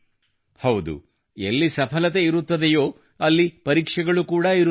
ಹೌದು ಎಲ್ಲಿ ಸಫಲತೆ ಇರುತ್ತದೆಯೋ ಅಲ್ಲಿ ಪರೀಕ್ಷೆಗಳು ಕೂಡಾ ಇರುತ್ತವೆ